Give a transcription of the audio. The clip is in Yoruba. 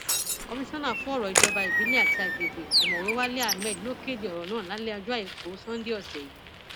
komisanna fọrọ ìjọba ìbílẹ àti agbègbè ọmọwé walé ahmed ló kéde ọrọ náà lálẹ ọjọ àìkú sannde ọsẹ yìí